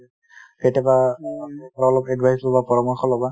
কেতিয়াবা অলপ advice ল'বা পৰামৰ্শ লবা |